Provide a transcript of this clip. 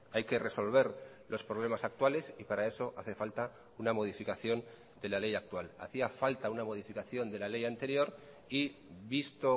hay que resolver los problemas actuales y para eso hace falta una modificación de la ley actual hacía falta una modificación de la ley anterior y visto